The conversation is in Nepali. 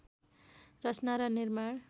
रचना र निर्माण